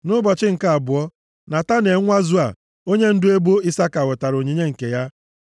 Nʼụbọchị nke abụọ, Netanel nwa Zua, onyendu ebo Isaka wetara onyinye nke ya.